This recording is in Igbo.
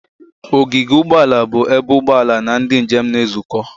Ogige ụgbọ ala bụ ebe ụgbọ ala na ndị njem na-ezukọ.